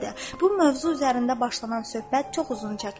Bu mövzu üzərində başlanan söhbət çox uzun çəkdi.